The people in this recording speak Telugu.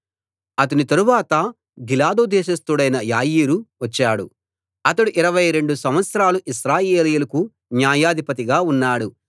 అతని తరువాత గిలాదు దేశస్థుడైన యాయీరు వచ్చాడు అతడు ఇరవై రెండు సంవత్సరాలు ఇశ్రాయేలీయులకు న్యాయాధిపతిగా ఉన్నాడు